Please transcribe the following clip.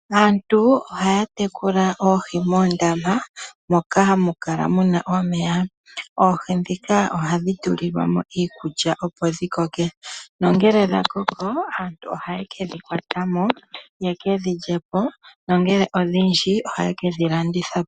Aantu oha ya tekula oohi moondama moka hamu kala mu na omeya, oohi ndhika oha dhi tulilwamo iikulya opo dhi koke nongele dha koko aantu oha yeke dhikwatamo yeke dhi lyepo nongele odhindji oha yeke dhi landithapo.